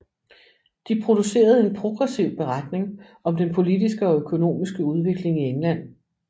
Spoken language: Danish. De producerede en progressiv beretning om den politiske og økonomiske udvikling i England